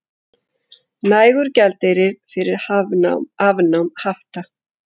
Nægur gjaldeyrir fyrir afnámi hafta